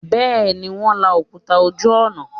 Bẹ́ẹ̀ ni, Wọ́n ń la òkúta ojú ọ̀nà